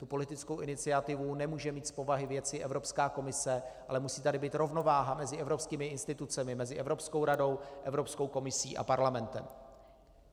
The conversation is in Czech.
Tu politickou iniciativu nemůže mít z povahy věci Evropská komise, ale musí tady být rovnováha mezi evropskými institucemi, mezi Evropskou radou, Evropskou komisí a parlamentem.